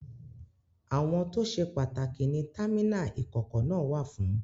Àwọn tó ṣe pàtàkì ni támínà ìkọ̀kọ̀ náà wà fún.